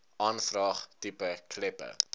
aanvraag tipe kleppe